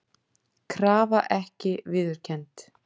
Krafa ekki viðurkennd